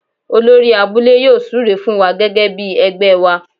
Olórí abúlé yóò súre fún wa gẹ́gẹ́ bí ẹgbẹ́ wa.